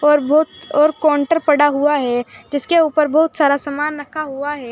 ऊपर बहुत और काउंटर पढ़ा हुआ है जिसके ऊपर बहुत सारा सामान रखा हुआ है।